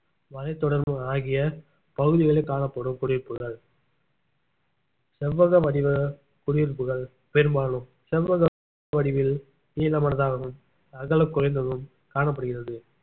மலைத்தொடர் ஆகிய பகுதிகளில் காணப்படும் குடியிருப்புகள் செவ்வக வடிவ குடியிருப்புகள் பெரும்பாலும் செவ்வக வடிவில் நீளமனதாகவும் அகலம் குறைந்தும் காணப்படுகிறது